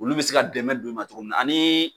Olu bɛ se ka dɛmɛ don i ma cogo min na ani.